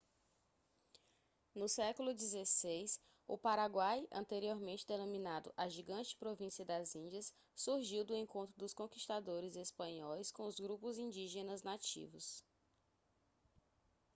no século xvi o paraguai anteriormente denominado a gigante província das índias surgiu do encontro dos conquistadores espanhóis com os grupos indígenas nativos